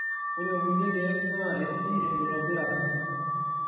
Ore kulie keek naa etii enkitobirata.